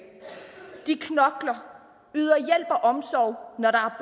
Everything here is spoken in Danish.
de knokler yder hjælp og omsorg når der